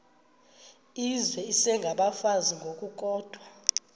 izizwe isengabafazi ngokukodwa